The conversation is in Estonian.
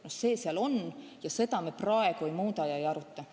See nõue seal on ja seda me praegu ei muuda ega aruta.